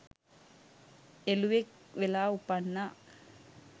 එළුවෙක් වෙලා උපන්නා.